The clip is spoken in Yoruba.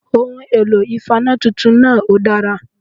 Ohun èlò ìfaná titun náà òdára